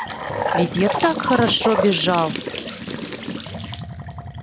ведь я так хорошо бежал